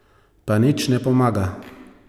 Pa nič ne pomaga.